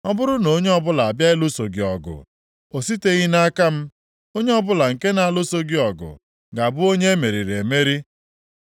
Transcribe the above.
Ọ bụrụ na onye ọbụla abịa ịlụso gị ọgụ, ọ siteghị nʼaka m; onye ọbụla nke na-alụso gị ọgụ ga-abụ onye e meriri emeri.